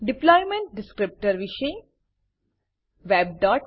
deployment descriptor deployment descriptor વિશે